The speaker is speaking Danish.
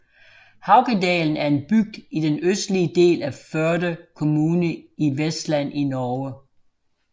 Haukedalen er en bygd i den østlige del af Førde kommune i Vestland i Norge